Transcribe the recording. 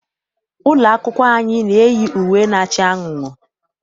Ụlọ akwụkwọ anyị na-eyi uwe na-acha anunuu.